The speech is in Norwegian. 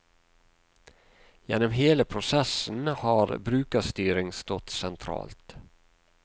Gjennom hele prosessen har brukerstyring stått sentralt.